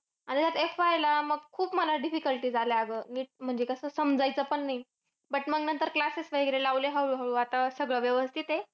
आणि आता FY ला, मग मला खूप difficulties आल्या अगं. नीट म्हणजे कसं समजायचं पण नाही. But मग नंतर classes वगैरे लावले हळू-हळू. आता सगळं व्यवस्थित आहे.